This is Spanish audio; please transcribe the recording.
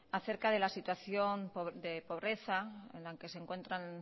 acerca de la situación de pobreza en la que se encuentran